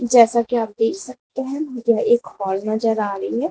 जैसा कि आप देख सकते हैं यह एक हाल नजर आ रही है।